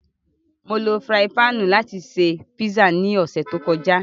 Mó ló firạyin pạ̀nnu làti ṣe pizza ni ọsẹ to kọja.